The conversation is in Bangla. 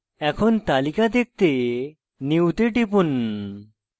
এখন তালিকা দেখতে new তে টিপুন